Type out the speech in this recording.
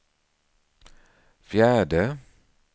fjärde